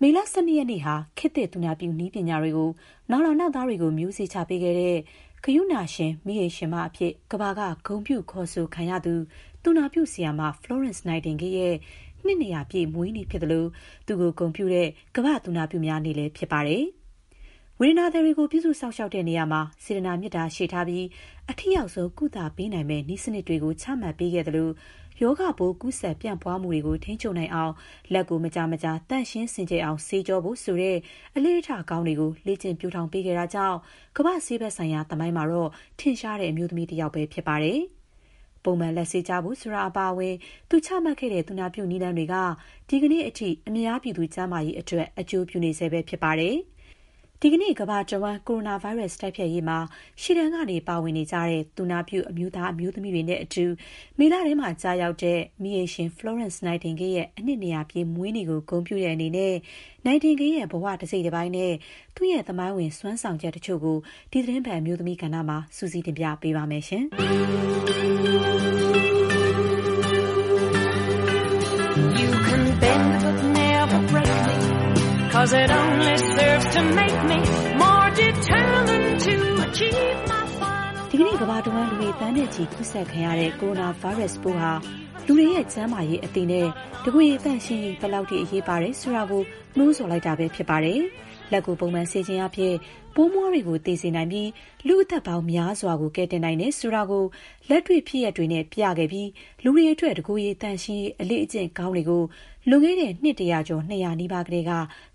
မေလ ၁၂ ရက်နေ့ဟာ ခေတ်သစ် သူနာပြုနည်းပညာတွေကို နောင်လာနောင်သားတွေ အတွက် မျိုးစေ့ချ ပေးခဲ့တဲ့၊ ဂရုဏာရှင် မီးအိမ်ရှင်မအဖြစ် ကမ္ဘာက ဂုဏ်ပြု ခေါ်ဆိုခံရသူ သူနာပြုဆရာမ Florence Nightingale ရဲ့ နှစ် ၂၀၀ ပြည့် မွေးနေ့ ဖြစ်သလို၊ သူ့ကိုဂုဏ်ပြုတဲ့ ကမ္ဘာ့သူနာပြုများနေ့လည်း ဖြစ်ပါတယ်။ ဝေဒနာသည်တွေကို ပြုစုစောင့်ရှောက်တဲ့နေရာမှာ စေတနာ မေတ္တာရှေ့ထားပြီး အထိရောက်ဆုံး ကုသပေးနိုင်မယ့် နည်းစနစ်တွေကို ချမှတ်ပေးခဲ့သလို၊ ရောဂါပိုး ကူးစက် ပြန့်ပွားမှုတွေ ထိန်းချုပ်နိုင်အောင် လက်ကို မကြာမကြာ သန့်ရှင်းစင်ကြယ်အောင်ဆေးကြောဖို့ ဆိုတဲ့ အလေ့အထ ကောင်းတွေကို လေ့ကျင့် ပျိုးထောင် ပေးခဲ့တာကြောင့် ကမ္ဘာ့ ဆေးဘက်ဆိုင်ရာ သမိုင်းမှာတော့ ထင်ရှားတဲ့ အမျိုးသမီးတယောက် ဖြစ်ပါတယ်။ ပုံမှန် လက်ဆေးကြဖို့ ဆိုတာ အပါအဝင် သူချမှတ်ခဲ့တဲ့ သူနာပြုစုနည်းလမ်းတွေက ဒီကနေ့အထိ အများပြည်သူ ကျန်းမာရေးအတွက် အကျိုးပြုနေဆဲဖြစ်ပါတယ်။ ဒီကနေ့ ကမ္ဘာတဝှမ်း ကိုရိုနာဗိုင်းရပ်စ် တိုက်ဖျက်ရေးမှာ ရှေ့တန်းက ပါဝင်နေကြတဲ့ သူနာပြု အမျိုးသမီး အမျိုးသားတွေနဲ့အတူ မေလထဲမှာ ကျရောက်တဲ့ မီးအိမ်ရှင် ဖလောရန့်စ် နိုက်တင်ဂေးရဲ့ အနှစ် ၂၀၀ ပြည့်မွေးနေ့ကို ဂုဏ်ပြုတဲ့အနေနဲ့ နိုက်တင်ဂေးရဲ့ ဘ၀ တစိတ်တပိုင်းနဲ့ သူ့ရဲ့ သမိုင်းဝင် စွမ်းဆောင်ချက် တချို့ကို ဒီသီတင်းပတ် အမျိုးသမီးကဏ္ဍမှာ မခင်ဖြူထွေးက စုစည်းတင်ပြထားပါတယ်။ ဒီကနေ့ ကမ္ဘာတဝှမ်း လူတွေသန်းနဲ့ချီ ကူးစက်ခံရတဲ့ ကိုရိုနာဗိုင်းရပ်စ်ပိုးက လူတွေရဲ့ ကျန်းမာရေးအသိနဲ့ တကိုယ်ရည် သန့်ရှင်းရေး ဘယ်လောက်အထိ အရေးပါတယ်ဆိုတာကို နိုးဆော်လိုက်တာပဲ ဖြစ်ပါတယ်။ လက်ကို ပုံမှန်ဆေးခြင်းအားဖြင့် ပိုးမွှားတွေကို သေစေ နိုင်ပြီး လူ့အသက်ပေါင်းများစွာကို ကယ်တင်နိုင်တယ်ဆိုတာကို လက်တွေ့ဖြစ်ရပ်တွေနဲ့ ပြခဲ့ပြီး လူတွေအတွက် တကိုယ်ရည် သန့်ရှင်းရေး အလေ့အကျင့်ကောင်းတွေကို လွန်ခဲ့တဲ့ နှစ် ၁၀၀ ကျော် ၂၀၀ နီးပါးကတည်းက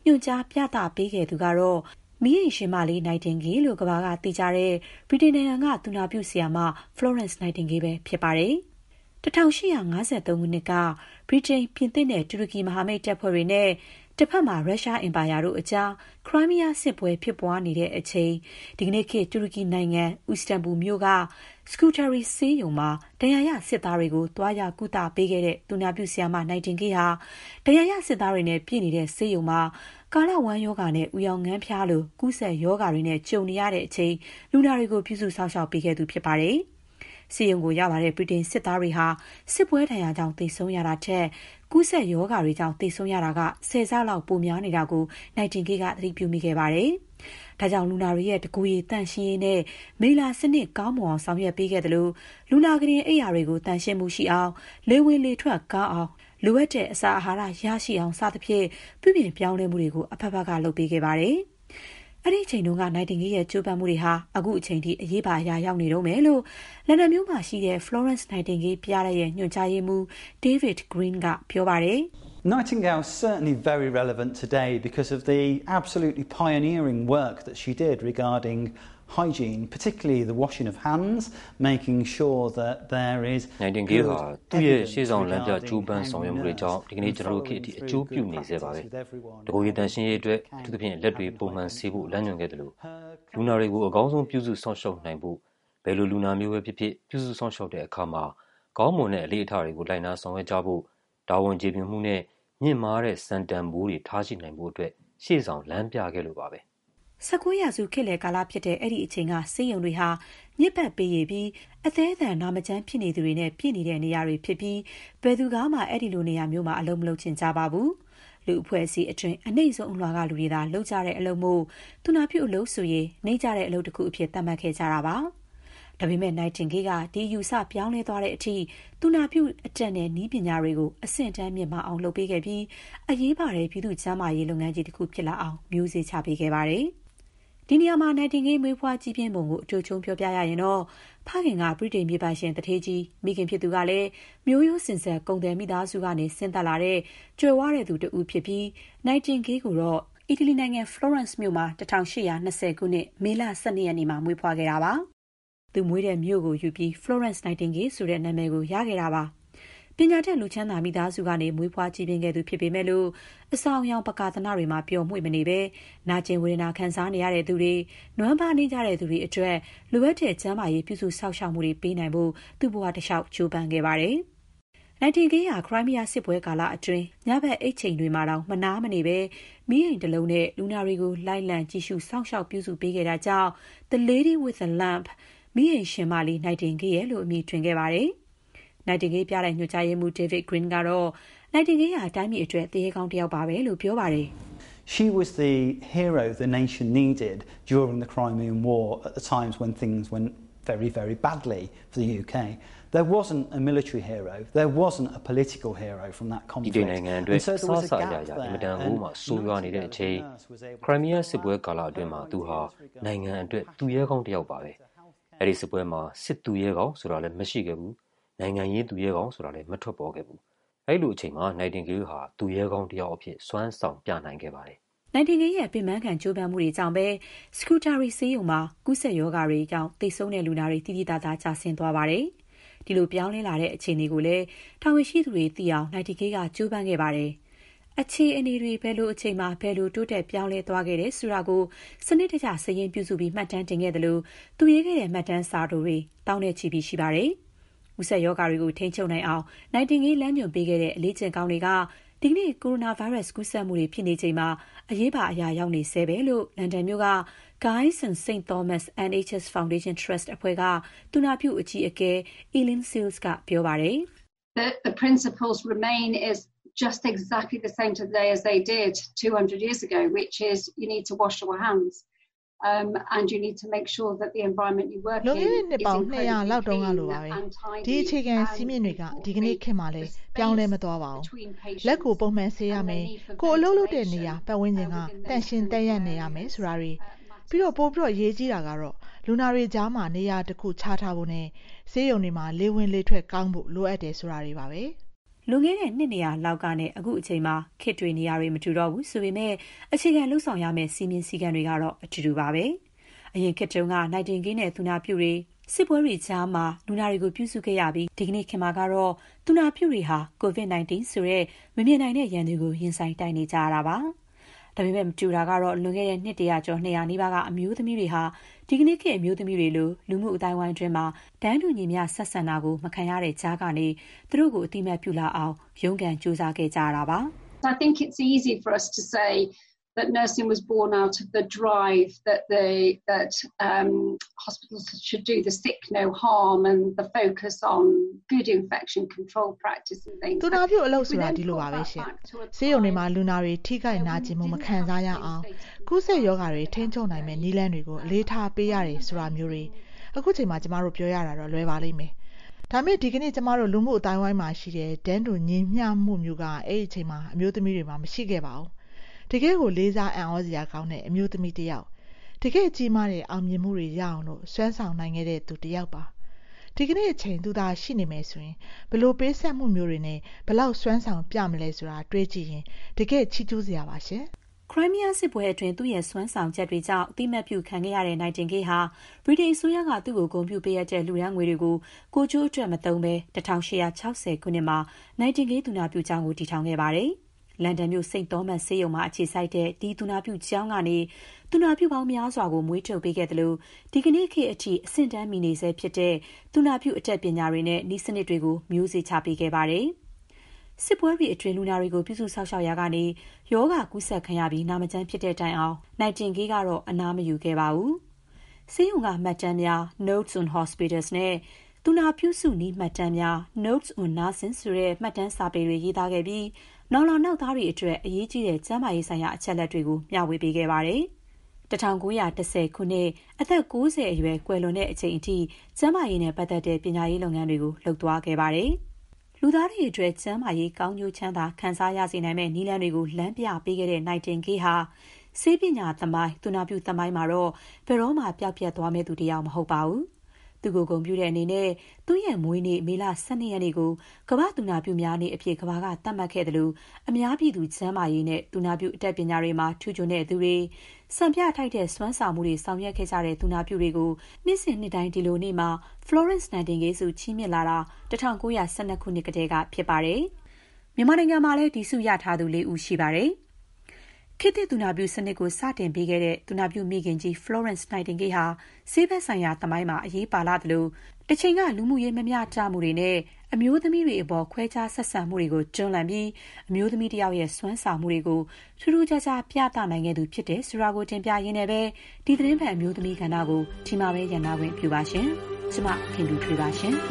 ညွှန်ကြား လမ်းပြခဲ့သူကတော့ မီးအိမ်ရှင်မလေး နိုက်တင်ဂေးလို့ ကမ္ဘာကသိကြတဲ့ ဗြိတိန်နိုင်ငံက သူနာပြု ဆရာမ ဖလောရန့်စ်နိုက်တင်ဂေးပဲ ဖြစ်ပါတယ်။ ၁၈၅၃ ခုနှစ်က ဗြိတိန်၊ ပြင်သစ်နဲ့ တူရကီ မဟာမိတ်တပ်ဖွဲ့တွေနဲ့ တဘက်မှာ ရုရှားအင်ပါယာ အကြား ခရိုင်းမီးယားစစ်ပွဲဖြစ်ပွားနေတဲ့အချိန်၊ ဒီကနေ့ခေတ်တူရကီနိုင်ငံ အီစတန်ဘူလ်မြို့က Scutari ဆေးရုံမှာ ဒဏ်ရာရ စစ်သားတွကို သွားရောက် ကုသပေးခဲ့တဲ့ သူနာပြု နိုက်တင်ဂေးဟာ ဒဏ်ရာရစစ်သားတွေနဲ့ပြည့်နေတဲ့ ဆေးရုံမှာ ကာလဝမ်းရောဂါနဲ့ အူရောင်ငန်းဖျားလို ကူးစက်ရောဂါတွေ ကြုံနေရတဲ့အချိန် လူနာတွေကို ပြုစုစောင့်ရှောက်ပေးခဲ့သူ ဖြစ်ပါတယ်။ ဆေးရုံကိုရောက်လာတဲ့ ဗြိတိန်စစ်သားတွေဟာ စစ်ပွဲဒဏ်ရာကြောင့် သေဆုံးရတာထက် ကူးစက်ရောဂါတွေကြောင့် သေဆုံးတာက ၁၀ ဆလောက် ပိုများနေတာကို နိုက်တင်ဂေးက သတိပြုမိခဲ့ပါတယ်။ ဒါကြောင့် လူနာတွေရဲ့ တကိုယ်ရေသန့်ရှင်းရေး နဲ့ မိလ္လာစနစ် ကောင်းမွန်အောင် ဆောင်ရွက်ပေးခဲ့သလို၊ လူနာခုတင် အိပ်ယာတွေကို သန့်ရှင်းမှုရှိအောင်၊ လေဝင်လေထွက် ကောင်းအောင်၊ လိုအပ်တဲ့ အစာအာဟာရ ရရှိအောင် စသဖြင့် ပြုပြင် ပြောင်းလဲမှုတွေကို အဘက်ဘက်က လုပ်ပေးခဲ့ပါတယ်။ အဲ့ဒီအချိန်က နိုက်တင်ဂေးရဲ့ ကြိုးပမ်းမှုတွေဟာ အခုချိန်ထိ အရေးပါ အရာရောက်နေတုန်းပဲလို့ လန်ဒန်မြို့မှာရှိတဲ့ Florence Nightingale ပြတိုက် ညွှန်ကြားရေးမှူး David Green က ပြောပါတယ်။ “နိုက်တင်ဂေးဟာ သူ့ရဲ့ ရှေ့ဆောင်လမ်းပြ ကြိုးပမ်းဆောင်ရွက်မှုတွေကြောင့် ဒီကနေ့ ကျနော်တို့ခေတ်အထိ အကျိုးပြုနေဆဲပါပဲ။ တကိုယ်ရည် သန့်ရှင်းရေးအတွက်၊ အထူးသဖြင့် လက်တွေ ပုံမှန်ဆေးဖို့ လမ်းညွှန်ခဲ့သလို၊ လူနာတွေကို အကောင်းဆုံး ပြုစုစောင့်ရှောက်နိုင်ဖို့၊ ဘယ်လိုလူနာမျိုးပဲဖြစ်ဖြစ် ပြုစုစောင့်ရှောက်တဲ့အခါမှာ ကောင်းမွန်တဲ့အလေ့အထတွေကို လိုက်နာဆောင်ရွက်ကြဖို့၊ တာဝန် ကျေပြွန်မှုနဲ့ မြင့်မားတဲ့ စံတန်ဖိုးတွေ ထားရှိနိုင်ဖို့အတွက် ရှေ့ဆောင်လမ်းပြခဲ့လို့ပါပဲ။” ၁၉ ရာစုခေတ်လယ်ကာလဖြစ်တဲ့ အဲ့ဒီအချိန်က ဆေးရုံတွေဟာ ညစ်ပတ်ပေရေပြီး အသည်းအသန် နာမကျန်းဖြစ်နေသူတွေနဲ့ ပြည့်နေတဲ့နေရာတွေ ဖြစ်ပြီး ဘယ်သူမှ အဲ့ဒီလိုနေရာမျိုးမှာ အလုပ် မလုပ်ချင်ကြပါဘူး။ လူ့အဖွဲ့အစည်းအတွင်း အနိမ့်ဆုံးအလွှာကလူတွေသာ လုပ်ကြတဲ့အလုပ်မို့၊ သူနာပြုအလုပ်ဆိုရင် နိမ့်ကျတဲ့အလုပ်တခုအဖြစ် သတ်မှတ်ခဲ့ကြတာပါ။ ဒါပေမဲ့ နိုက်တင်ဂေးက ဒီအယူအဆေ ပြောင်းလဲသွားတဲ့အထိ သူနာပြုအတတ်နဲ့ နည်းစနစ်တွေ အဆင့်အတန်းမြင့်မားအောင် လုပ်ပေးခဲ့ပြီး အရေးပါတဲ့ ပြည်သူ့ကျန်းမာရေး လုပ်ငန်းကြီးတခုဖြစ်လာအောင် မျိုးစေ့ချပေးခဲ့ပါတယ်။ ဒီနေရာမှာ နိုက်တင်ဂေး မွေးဖွားကြီးပြင်းခဲ့ပုံကို အတိုချုံး ပြောရရင်တော့ ဖခင်က ဗြိတိန် မြေပိုင်ရှင်သူဌေး၊ မိခင်ကလည်း မျိုးရိုးစဉ်ဆက် ကုန်သည်မိသားစုက ဆင်းသက်လာတဲ့ ချမ်းသာကြွယ်ဝသူ တဦးဖြစ်ပြီး နိုက်တင်ဂေးကိုတော့ အီတလီနိုင်ငံ Florence မြို့မှာ ၁၈၂၀ ခုနှစ် မေလ ၁၂ ရက်ေနေ့မှာမွေးဖွားခဲ့တာပါ။ သူမွေးတဲ့မြို့ကို ယူပြီး Florence Nightingale ဆိုတဲ့ နာမည်ရခဲ့တာပါ။ ပညာတတ် လူချမ်းသာမိသားစုကနေ မွေးဖွားကြီးပြင်းခဲ့သူ ဖြစ်ပေမဲ့လို့ အဆောင်အယောင် ပကာသနတွေမှာ ပျော်မွေ့မနေဘဲ၊ နာကျင် ဝေဒနာ ခံစားနေရသူတွေ၊ နွမ်းပါးနိမ့်ကျသူတွေ အတွက် လိုအပ်တဲ့ ကျန်းမာရေး ပြုစုစောင့်ရှောက်မှုတွေ ပေးနိုင်ဖို့ သူ့ဘဝတလေ ျှာက် ကြိုးပမ်းခဲ့ပါတယ်။ နိုက်တင်ဂေးဟာ ခရိုင်းမီးယားစစ်ပွဲကာလအတွင်း ညဘက် အိပ်ချိန်မှာတောင် မနားမနေဘဲ မီးအိမ်တလုံးနဲ့ လူနာတွေကို လိုက်လံ ကြည့်ရှုပြီး ပြုစု စောင့်ရှောက်ပေးခဲ့တာကြောင့် "The Lady with the Lump" မီးအိမ်ရှင်မလေး နိုက်တင်ဂေး ရယ်လို့ အမည်တွင်လာခဲ့ပါတယ်။ နိုက်တင်ဂေးပြတိုက် ညွှန်ကြားရေးမှူး David Green ကတော့ နိုက်တင်ဂေးဟာ တိုင်းပြည်အတွက် သူရဲကောင်းတယောက်ပါပဲလို့ ပြောပါတယ်။ “ဗြိတိန်နိုင်ငံအတွက် အစစ အရာရာ အင်မတန်ကိုမှ ဆိုရွားနေတဲ့အချိန်၊ ခရိုင်းမီးယားစစ်ပွဲကာလအတွင်းမှာ သူဟာ နိုင်ငံအတွက် သူရဲကောင်းတယောက်ပါပဲ။ အဲ့ဒီစစ်ပွဲမှာ စစ်သူရဲကောင်း ဆိုတာလည်း မရှိခဲ့ဘူး။ နိုင်ငံရေးသူရဲကောင်းဆိုတာလည်း မထွက်ပေါ်ခဲ့ပါဘူး။ အဲ့ဒီလိုအချိန်မှာ နိုက်တင်ဂေးက သူရဲကောင်းတယောက်အဖြစ် စွမ်းဆောင်ပြနိုင်ခဲ့ပါတယ်။” နိုက်တင်ဂေးရဲ့ အပင်ပန်းခံကြိုးပမ်းမှုတွေကြောင့်ပဲ Scutari ဆေးရုံံမှာ ကူးစက်ရောဂါတွေကြောင့် သေဆုံးတဲ့ လူနာတွေ သိသိသာသာ ကျဆင်းသွားခဲ့ပါတယ်။ ဒီလိုပြောင်းလဲလာတဲ့ အခြေအနေကိုလည်း တာဝန်ရှိသူတွေ သိရှိအောင် နိုက်တင်ဂေးက ကြိုးပမ်းခဲ့ပါတယ်။ အခြေအနေတွေ ဘယ်အချိန်မှာ ဘယ်လို တိုးတက် ပြောင်းလဲသွားခဲ့တယ် ဆိုတာကို စနစ်တကျ စာရင်းပြုစုပြီး မှတ်တမ်းတင်ခဲ့သလို၊ သူရေးခဲ့တဲ့ မှတ်တမ်းစာတိုတွေ သောင်းနဲ့ချီ ရှိခဲ့ပါတယ်။ ကူးစက်ရောဂါတွေကို ထိန်းချုပ်နိုင်အောင် နိုက်တင်ဂေး လမ်းညွှန်ပေးခဲ့တဲ့ အလေ့အကျင့်ကောင်းတွေက ဒီကနေ့ ကမ္ဘာတဝှမ်း ကိုရိုနာဗိုင်းရပ်စ် ကူးစက်မှုတွေ ဖြစ်နေချိန်မှာ ဘယ်လောက် အရေးပါသလဲ သိနိုင်တယ်လို့ လန်ဒန်မြို့က Guys and St Thomas' NHS Foundation Trust အဖွဲ့က သူနာပြုအကြီးအကဲ Eileen Sills က ပြောပါတယ်။ “လွန်ခဲ့တဲ့ နှစ်ပေါင်း ၂၀၀ လောက်တုန်းကလိုပဲ ဒီအခြေခံစည်းမျဉ်းတွေက ဒီကနေ့ခေတ်မှာလည်း ပြောင်းလဲမသွားပါဘူး။ လက်ကို ပုံမှန်ဆေးရမယ်။ ကိုယ် အလုပ်လုပ်တဲ့ နေရာ ပတ်ဝန်းကျင်က သန့်ရှင်း သပ်ရပ်နေရမယ် ဆိုတာတွေ။ ပိုပြီး အရေးကြီးတာကတော့ လူနာတွေကြားမှာ နေရာတခု ခြားထားဖို့ နဲ့ ဆေးရုံတွေမှာ လေဝင်လေထွက် ကောင်းဖို့ လိုအပ်တယ်ဆိုတာတွေပါပဲ။” လွန်ခဲ့တဲ့ နှစ် ၂၀၀ လောက်ကနဲ့ အခုအချိန်မှာ ခေတ်တွေ နေရာတွေ မတူတော့ဘူး ဆိုပေမဲ့လည်း အခြေခံလုပ်ဆောင်ရမယ့် စည်းမျဉ်းစည်းကမ်းတွေကတော့ အတူတူပါပဲ။ အရင်ခေတ်က နိုက်တင်ဂေးနဲ့ သူနာပြုတွေ စစ်ပွဲကြားမှာ လူနာတွေကို ပြုစုခဲ့ရပြီး၊ ဒီကနေ့အချိန်မှာတော့ သူနာပြုတွေဟာ COVID-19 ဆိုတဲ့ မမြင်နိုင်တဲ့ရန်သူကို ရင်ဆိုင် တိုက်နေကြရတာပါ။ ဒါပေမဲ့ မတူတော့တာကတော့ လွန်ခဲ့တဲ့ နှစ် ၁၀၀ ကျော် ၂၀၀ နီးပါးက အမျိုးသမီးတွေဟာ ဒီကနေ့ခေတ် အမျိုးသမီးတွေလို လူမှုအသိုင်းအဝိုင်းအတွင်း တန်းတူညီမ ျှ ဆက်ဆံတာ မခံရတဲ့ကြားကနေ သူတို့ကို အသိအမှတ်ပြုလာအောင် ရုန်းကန် ကြိုးစားခဲ့ကြရတာဖြစ်ပါတယ်။ “သူနာပြုအလုပ် ဆိုတာ ဒီလိုပဲ ဆေးရုံတွေမှာ လူနာတွေ ထိခိုက်နာကျင်မှု မခံစားရအောင်၊ ကူးစက်ရောဂါတွေ ထိန်းချုပ်နိုင်မယ့် နည်းလမ်းတွေကို အလေးထားပေးရတယ် ဆိုတာမျိုးတွေ။ ခုချိန်မှာ ကျမတို့ ပြောရတာတော့ လွယ်ပါလိမ့်မယ်။ ဒါပေမဲ့ ဒီကနေ့ ကျမတို့ လူမှုအသိုင်းအဝိုင်းမှာရှိတဲ့ တန်းတူညီမ ျှမှုမျိုး အဲ့ဒီအချိန်က အမျိုးသမီးတွေမှာ မရှိခဲ့ကြပါဘူး။ တကယ့်ကို လေးစား အံ့သြစရာကောင်းတဲ့ အမျိုးသမီးတယောက်၊ တကယ့် ကြီးမားတဲ့ အောင်မြင်မှုတွေ ရအောင် စွမ်းဆောင်နိုင်ခဲ့တဲ့ သူတယောက်ပါ။ ဒီကနေ့အချိန် သူသာ ရှိနေမယ်ဆိုရင် ဘယ်လို ပေးဆပ်မှုတွေနဲ့ ဘယ်လောက် စွမ်းဆောင်ပြမလဲဆိုတာ တွေးကြည့်ရင် တကယ့်ကို ချီးကျူးစရာပါ။” ခရိုင်းမီးယားစစ်ပွဲအတွင်း သူ့ရဲ့စွမ်းဆောင်ချက်တွေကြောင့် အသိအမှတ်ပြုခံခဲ့ရတဲ့ နိုက်တင်ဂေးဟာ ဗြိတိန်အစိုးရက သူ့ကိုဂုဏ်ပြုပေးအပ်တဲ့ လှူဒါန်းငွေတွေကို ကိုယ်ကျိုးအတွက်မသုံးဘဲ ၁၈၆၀ ခုနှစ်မှာ နိုက်တင်ဂေးသူနာပြုကျောင်းကို တည်ထောင်ခဲ့ပါတယ်။ လန်ဒန်မြို့ St. Thomas' ဆေးရုံမှာ အခြေစိုက်တဲ့ ဒီ သူနာပြုကျောင်းကနေ သူနာပြုပေါင်းများစွာ မွေးထုတ်ပေးခဲ့သလို၊ ဒီကနေ့ခေတ်အထိ အဆင့်အတန်းမီနေဆဲဖြစ်တဲ့ သူနာပြည်အတတ်ပညာတွေနဲ့ နည်းစနစ်တွေကို မျိုးစေ့ချေပေးခဲ့ပါတယ်။ စစ်ပွဲတွေအတွင်း လူနာတွေကို ပြုစုစောင့်ရှောက်ရာကနေ ရောဂါကူးစက်ခံရပြီး နာမကျန်းဖြစ်တဲ့တိုင်အောင် နိုက်တင်ဂေးကတော့ အနားမယူခဲ့ပါဘူး။ ဆေးရုံက မှတ်တမ်းများ “Notes on Hospitals” နဲ့ သူနာပြုစုနည်းမှတ်တမ်းများ “Notes on Nursing” ဆိုတဲ့ မှတ်တမ်းစာပေတွေ ရေးသားခဲ့ပြီး နောင်လာနောက်သားတွေအတွက် အရေးကြီးတဲ့ ကျန်းမာရေးဆိုင်ရာ အချက်အလက်တွေကို မ ျှေ၀ ပေးခဲ့ပါတယ်။ ၁၉၁၀ ခုနှစ်၊ အသက် ၉၀ အရွယ် ကွယ်လွန်ခဲ့ချိန်အထိ ကျန်းမာရေးနဲ့ပတ်သက်တဲ့ ပညာပေးလုပ်ငန်းတွေကို လုပ်သွားခဲ့ပါတယ်။ လူသားတွေအတွက် ကျန်းမာရေး ကောင်းကျိုးချမ်းသာ ခံစားရစေနိုင်မယ့်နည်းလမ်းတွေကို လမ်းပြ ပေးခဲ့တဲ့ နိုက်တင်ဂေးဟာ ဆေးပညာသမိုင်း၊ သူနာပြုသမိုင်းမှာတော့ ဘယ်တော့မှ ပျောက်ပျက်မသွားမယ့်သူတယောက် မဟုတ်ပါဘူး။ သူ့ကိုဂုဏ်ပြုတဲ့နေနဲ့ သူ့ ရဲ့ မွေးနေ့ မေလ ၁၂ ရက်နေ့ကို ကမ္ဘာ့သူနာပြုများနေ့အဖြစ် ကမ္ဘာက သတ်မှတ်ခဲ့သလို၊ အများပြည်သူ ကျန်းမာရေးနဲ့ သူနာပြု အတတ်ပညာတွေမှာ ထူးချွန်သူတွေ၊ စံပြထိုက်တဲ့ စွမ်းဆောင်မှုတွေ လုပ်ဆောင်ခဲ့ကြတဲ့ သူနာပြုတွေကို နှစ်စဉ်နှစ်တိုင်း ဒီလိုနေ့မှာ ဖလောရန့်စ်နိုက်တင်ဂေးဆု ချီးမြင့်လာခဲ့တာ ၁၉ ၁၂ ခုနှစ်ကတည်းက ဖြစ်ပါတယ်။ မြန်မာနိုင်ငံမှာလည်း ဒီဆုချီးမြှင့်ခံထားရသူ ၄ ဦးရှိပါတယ်။ ခေတ်သစ်သူနာပြုစနစ်ကို စတင်ပေးခဲ့တဲ့ သူနာပြုမိခင်ကြီး ဖလောရန့်စ် နိုက်တင်ဂေးဟာ ဆေးဘက်ဆိုင်ရာသမိုင်းမှာ အရေးပါလှသလို၊ တချိန်က လူမှုရေး မညီမျှမှုတွေနဲ့ အမျိုးသမီးတွေအပေါ် ခွဲခြားဆက်ဆံမှုတွေကို တွန်းလှန်ပြီး အမျိုးသမီးတယောက်ရဲ့ စွမ်းဆောင်မှုတွေကို ထူးထူးခြားခြား ပြသနိုင်ခဲ့သူ ဖြစ်တယ်ဆိုတာကို တင်ပြရင်းနဲ့ပဲ ဒီသီတင်းပတ် အမျိုးသမီးကဏ္ဍကို ဒီမှာပဲရပ်နားခွင့် ပြုပါရှင်။ ကျမ ခင်ဖြူထွေးပါ ရှင်။